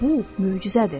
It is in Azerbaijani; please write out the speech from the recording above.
Bu möcüzədir.